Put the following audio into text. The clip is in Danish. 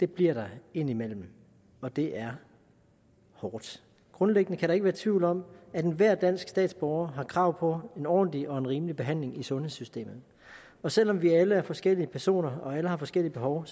bliver der indimellem og det er hårdt grundlæggende kan der ikke være tvivl om at enhver dansk statsborger har krav på en ordentlig og en rimelig behandling i sundhedssystemet og selv om vi alle er forskellige personer og alle har forskellige behov